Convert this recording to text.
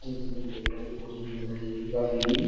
जैसा कि हम देख रहे हैं ये कोठी हमें दिखाई गयी है। काफी --